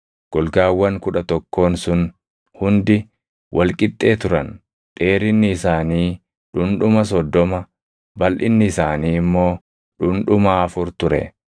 Golgaawwan kudha tokkoon sun hundi wal qixxee turan; dheerinni isaanii dhundhuma soddoma, balʼinni isaanii immoo dhundhuma afur ture.